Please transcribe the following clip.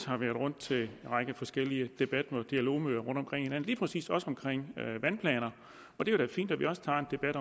har været rundt til en række forskellige debatmøder og dialogmøder rundtomkring i landet lige præcis også omkring vandplaner og det er da fint at vi også tager en debat